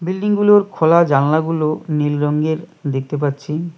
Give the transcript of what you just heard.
বিল্ডিংগুলোর খোলা জানালাগুলো নীল রঙের দেখতে পাচ্ছি।